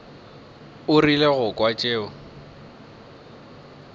o rile go kwa tšeo